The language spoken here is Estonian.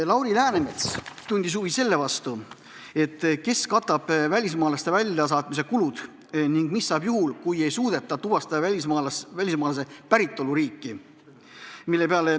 Lauri Läänemets tundis huvi selle vastu, kes katab välismaalaste väljasaatmise kulud ning mis saab juhul, kui ei suudeta tuvastada välismaalase päritoluriiki.